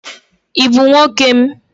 Ị bụ nwoke m.